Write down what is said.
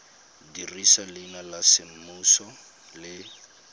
dirisa leina la semmuso le